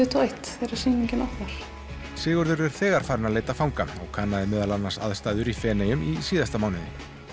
og eitt þegar sýningin opnar Sigurður er þegar farinn að leita fanga og kannaði meðal annars aðstæður í Feneyjum í síðasta mánuði